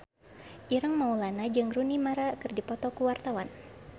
Ireng Maulana jeung Rooney Mara keur dipoto ku wartawan